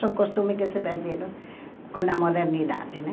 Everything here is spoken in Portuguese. São costumes que se perderam com a modernidade, né?